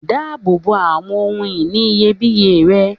Dáàbò bo awọn ohun-ìní iyebíye rẹ.